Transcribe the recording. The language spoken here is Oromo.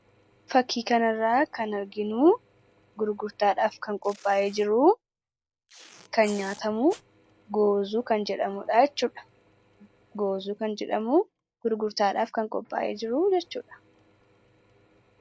Fakkii kanarraa kan arginu gurgurtaadhaaf qophaa'ee kan jiru kan nyaatamu 'Goozuu' kan jedhamudha jechuudha. Goozuu kan jedhamu gurgurtaadhaaf kan qophaa'e jiru jechuudha.